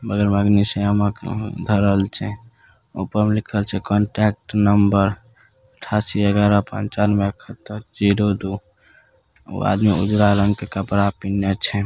बगल में अग्निशामक धरल छै ऊपर मे लिखल छै कॉन्टैक्ट नंबर अठासी ग्यारह पंचानवे इक्कहतर जीरो दू ऊ आदमी ऊजरा रंग के कपड़ा पिन्हा छै।